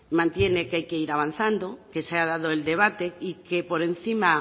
mantiene que hay que ir avanzando que se ha dado el debate y que por encima